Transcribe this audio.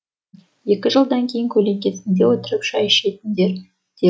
екі жылдан кейін көлеңкесінде отырып шай ішесіңдер деп